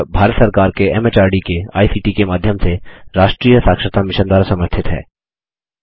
यह भारत सरकार के एमएचआरडी के आईसीटी के माध्यम से राष्ट्रीय साक्षरता मिशन द्वारा समर्थित है